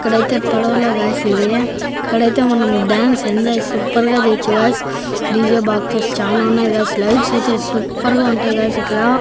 ఇక్కడైతే పడవలో గాయ్స్ ఇది ఇక్కడైతే మనం డాన్స్ ఎంజాయ్ సూపర్ గా చెయ్యొచ్చు గాయ్స్ డీ_జే బాక్సెస్ చానా ఉన్నాయి గాయ్స్ లైట్స్ అయితే సూపర్ గా ఉంటాయి గాయ్స్ ఇక్కడ.